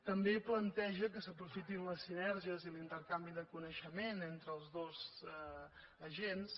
també planteja que s’aprofitin les sinergies i l’intercanvi de coneixement entre els dos agents